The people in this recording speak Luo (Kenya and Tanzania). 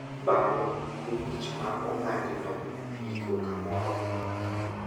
Bang’e, yie wich ma ong'adi no iiko kamoro.